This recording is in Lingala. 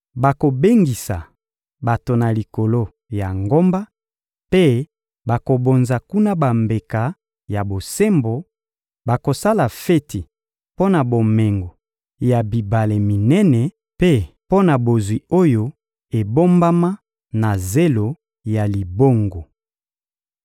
Bakobengisa bato na likolo ya ngomba, mpe bakobonza kuna bambeka ya bosembo, bakosala feti mpo na bomengo ya bibale minene, mpe mpo na bozwi oyo ebombama na zelo ya libongo.»